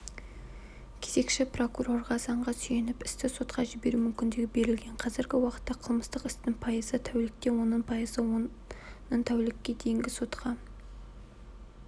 кезекші прокурорға заңғы сүйеніп істі сотқа жіберу мүмкіндігі берілген қазіргі уақытта қылмыстық істің пайызы тәулікте оның пайызы үш тәулікке дейін сотқа